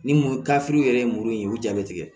Ni mu kafew yɛrɛ ye muru in ye u ja bɛ tigɛ